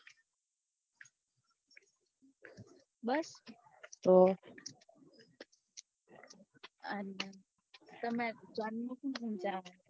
બસ તો અને તમે